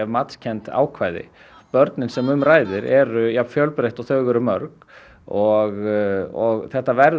matskennd ákvæði börnin sem um ræðir eru jafnfjölbreytt og þau eru mörg og þetta verður